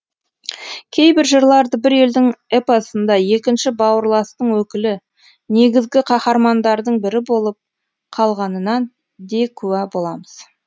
кейбір жырларды бір елдің эпосында екінші бауырластың өкілі негізгі қаһармандардың бірі болып қалғанына де куә боламыз